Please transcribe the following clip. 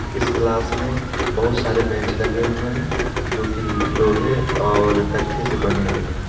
इस क्लास में बहुत सारे बैंच लगे हुए है जो कि लोहे तथा तख्ते से बने हुई हैं।